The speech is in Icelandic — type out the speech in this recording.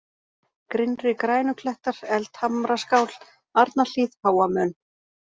Grynnri-Grænuklettar, Eldhamraskál, Arnarhlíð, Háa-Mön